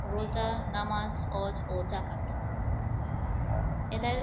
রোজা, নামাজ, হজ ও যাকাত। এদের